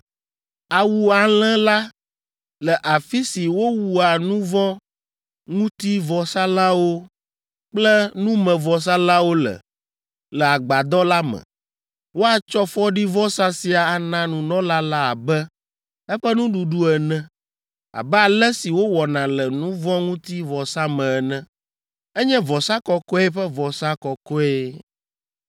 Awu alẽ la le afi si wowua nu vɔ̃ ŋuti vɔsalãwo kple numevɔsalãwo le, le Agbadɔ la me. Woatsɔ fɔɖivɔsa sia ana nunɔla la abe eƒe nuɖuɖu ene, abe ale si wowɔna le nu vɔ̃ ŋuti vɔsa me ene. Enye vɔsa kɔkɔe ƒe vɔsa kɔkɔe.